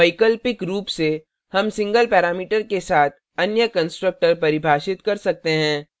वैकल्पिक रूप से हम single parameter के साथ अन्य constructor परिभाषित कर सकते हैं